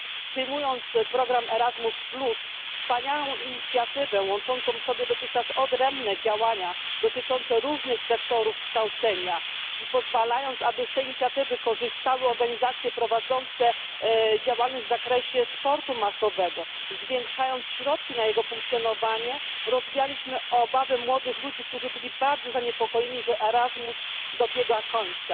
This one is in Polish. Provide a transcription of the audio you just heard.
Przyjmując program ERASMUS plus, wspaniałą inicjatywę łączącą w sobie dotychczas odrębne działania dotyczące różnych sektorów kształcenia, pozwalając, aby z tej inicjatywy korzystały organizacje prowadzące działalność w zakresie sportu masowego, zwiększając środki na jego funkcjonowanie, rozwialiśmy obawy młodych ludzi, którzy byli bardzo zaniepokojeni, że ERASMUS dobiega końca.